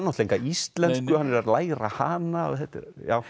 enga íslensku hann er að læra hana þetta er